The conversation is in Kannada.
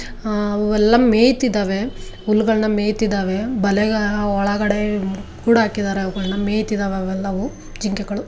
ಅವೆಲ್ಲ ಮೆಯುತಿದ್ದವೇ ಹುಲ್ಲುಗಲ್ಲನ ಮೇಯುತ್ತಿದ್ದವೆ ಬಲೆಯ ಒಳಗೆ ಕುಡಿಹಾಕಿದ್ದಾರೇ ಅವುಗಳೆಲ್ಲಾ ಮೇಯುತ್ತಿದ್ದವೆ ಅವೆಲ್ಲವು ಜಿಂಕೆಗಳು.